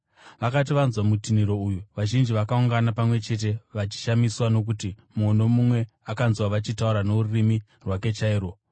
Vakati vanzwa kutinhira uyu, vazhinji vakaungana pamwe chete vachishamiswa, nokuti mumwe nomumwe akavanzwa vachitaura norurimi rwake chairwo.